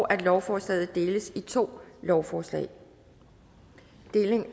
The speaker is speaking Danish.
at lovforslaget deles i to lovforslag